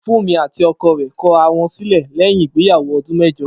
Fúnmi àti o̩ko̩ rè̩ ko̩ ara wo̩n sílè̩ lé̩yìn ìgbéyàwó o̩dún mé̩jo̩